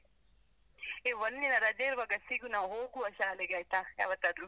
ಏ, ಒಂದಿನ ರಜೆ ಇರುವಾಗ ಸಿಗು ನಾವು ಹೋಗುವ ಶಾಲೆಗೆ ಆಯ್ತಾ? ಯಾವತ್ತಾದ್ರು?